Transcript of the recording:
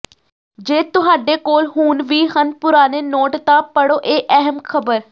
ਜੇ ਤੁਹਾਡੇ ਕੋਲ ਹੁਣ ਵੀ ਹਨ ਪੁਰਾਣੇ ਨੋਟ ਤਾਂ ਪੜ੍ਹੋ ਇਹ ਅਹਿਮ ਖਬਰ